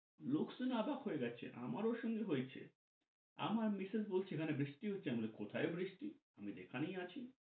লোকজন অবাক হয়ে গেছে। আমারও সঙ্গে হয়েছে । আমার মিসেস বলছে এখানে বৃষ্টি হচ্ছে। আমি বলি কোথায় বৃষ্টি? আমি এখানেই আছি।